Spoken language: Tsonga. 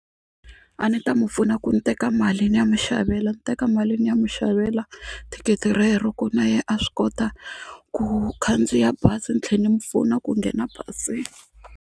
A ni ta mu pfuna ku ni teka mali ni ya mi xavela ni teka mali ni ya mi xavela thikithi rero ku na yena a swi kota ku khandziya bazi ni tlhela ni mi pfuna ku nghena bazini.